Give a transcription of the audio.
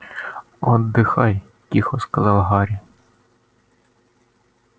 отдыхай тихо сказал гарри